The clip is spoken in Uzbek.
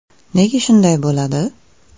Nega shunday bo‘ladi?